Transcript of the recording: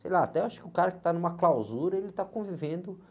Sei lá, até acho que o cara que está numa clausura, ele está convivendo